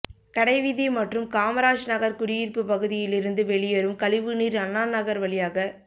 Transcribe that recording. கடைவீதி மற்றும் காமாராஜ் நகர் குடியிருப்பு பகுதியிலிருந்து வெளியேறும் கழிவு நீர் அண்ணாநகர் வழியாக